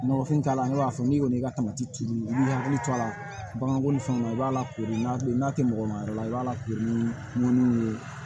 Nɔgɔfin t'a la ne b'a fɔ n'i kɔni y'i ka tamati i b'i hakili to a la baganko ni fɛnw na i b'a lakoori n'a tɛ mɔgɔ ma yɔrɔ la i b'a lakoori ni